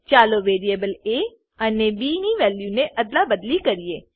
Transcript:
ચાલો variable A અને B ની વેલ્યુને અદલાબદલી કરીએ